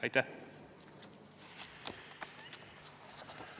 Aitäh!